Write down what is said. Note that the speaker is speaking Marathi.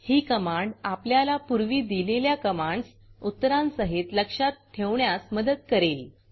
ही कमांड आपल्याला पूर्वी दिलेल्या कमांड्स उत्तरांसहित लक्षात ठेवण्यास मदत करेल